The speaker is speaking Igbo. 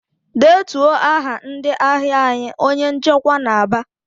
"Detuo aha ndị ahịa anyị!" Onye nchịkwa na-aba.